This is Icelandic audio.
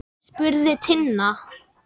spurði Tinna.